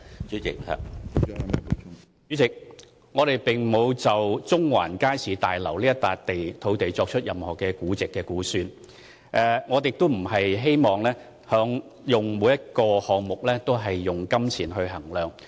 主席，我們並沒有就中環街市大樓這幅土地作任何估值和估算，我們不希望所有項目均用金錢來衡量。